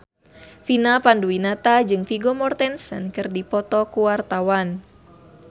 Vina Panduwinata jeung Vigo Mortensen keur dipoto ku wartawan